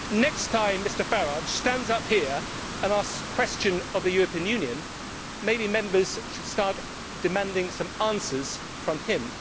Next time Mr Farage stands up and asks questions of the European Union, maybe Members should start demanding some answers from him.